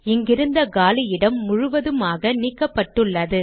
இங்கிருந்த காலி இடம் முழுவதுமாக நீக்கப்பட்டுள்ளது